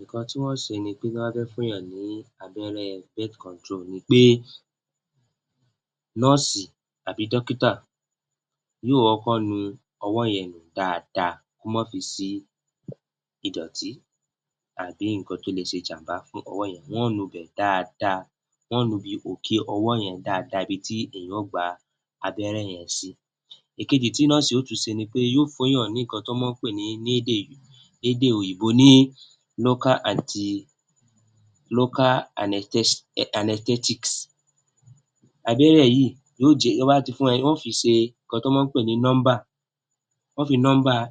Nǹkan tí wọn yóò ṣe tí wọ́n bá fẹ́ fún èèyàn ní abẹ́rẹ́ [cm] ni pé nọ́ọ̀sì tàbí dọ́kìtà yóò kọ́kọ́ nu ọwọ́ yẹn nù dáadáa kó máa ba à sí ìdọ̀tì tàbí nǹkan tó lè ṣe ìjàǹbá fún ọwọ́ yẹn, wọn yóò nu òkè ọwọ́ yẹn dáadáa ibi ti èèyàn yóò gba abẹ́rẹ́ yẹn sí. Ìkejì, tí nọ́ọ̀sì yóò ṣe ni pé yóò fún èèyàn ní nǹkan tí wọ́n ń pè lédè òyìnbó ní [cm], abẹ́rẹ́ yìí, tán bá ti, wọn yóò fi fún èèyàn ní nọ́ńbà, wọn yóò fi nọ́ńbà [cm]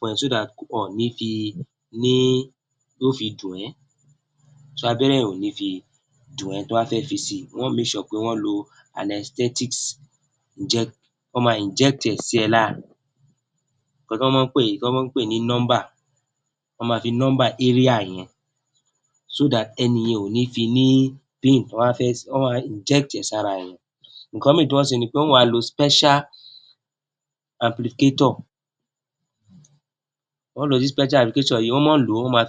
wọn ò ní fi, yóò fi dùn ẹ́, [cm] abẹ́rẹ́ yẹn ò ní fi dùn ẹ́ tán bá fẹ́ fi abẹ́rẹ́ yẹn si, wọn yóò [cm] pé wọ́n lo [cm], wọ́n máa [cm] sí ẹ lára, nǹkan tán mọ́ ń pè ní nọ́ńbà, wọ́n máa fi nọ́ńbà [cm] yẹn [cm] ẹni yẹn ò fi ní ní [cm] wọ́n máa [cm] ẹ sára ènìyàn, nǹkan míì tí wọn yóò wá ṣe ni wí pé wọn yóò wá lo [cm], wọ́n máa ń lò ó, wọ́n máa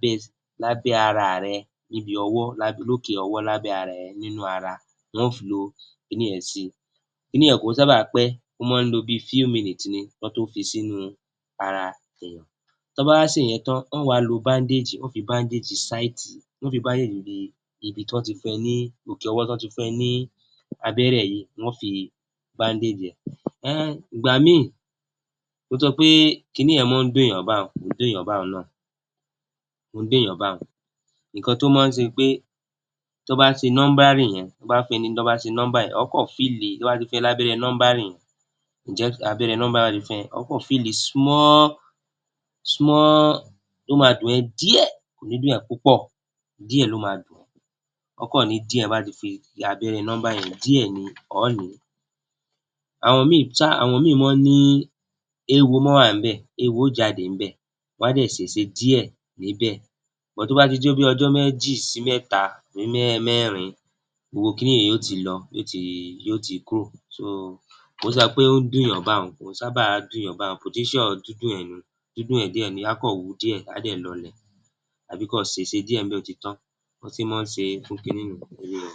fi [cm] ní abẹ́ ara rẹ níbi ọwọ́, lókè ọwọ́ lábẹ́ ara wọn yóò lo kíni yẹn si, kì í sáábà pẹ́ nínú ara, ó máa ń lo bí i [cm] ni kán tó fi sínú ara, tán bá wá ṣe ìyẹn tán, wọ́n máa wá lo [cm] de ibi tí wọ́n ti òkè ọwọ́ tí wọ́n ti fún ẹ ní abẹ́rẹ́ yìí, wọn yóò fi [cm] ẹ. Ìgbà míì, tó jẹ wí pé kíni yẹn máa ń dun èèyàn báun náà, kì í dùnyàn báun, nǹkan tó mọ́ ọn ń ṣe ni pé tán bá ṣe [cm] yẹn o ó kàn [cm], tí wọ́n bá ti fún ẹ lábẹ́rẹ́ [cm] yẹn, o ó kàn [cm], ó máa dùn ẹ́ díẹ̀ kò ní dùn ẹ́ púpọ̀, ọ ọ́ kàn ní díẹ̀, tí wọ́n bá ti fi abẹ́rẹ́ [cm] yẹn díẹ̀ ni ọ ọ́ nì í, àwọn míì mọ́ ọn ń ni, éwo mọ́ ọn ń jáde níbẹ̀, ṣùgbọ́n tó bá ti di bí ọjọ́ méjì sí mẹ́ta sí mẹ́rin gbogbo kiní yẹn yóò ti lọ, yóò ti kúrò, [cm] kì í ṣe pé ó ń dùnyàn báun, kò sábà ń dùnyàn báun [cm] dídùn èèyàn díẹ̀ ni, á kàn wú díẹ̀, á dẹ̀ lọlẹ̀, tàbí kí ó ṣèse díẹ̀ bẹ́ẹ̀, ó ti tán, bí wọ́n ṣe mọ́ ọn ń ṣe fún kiní nì un, èmi ò mọ.